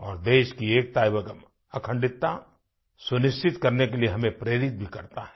और देश की एकता और अखंडता सुनिश्चित करने के लिए हमें प्रेरित भी करता है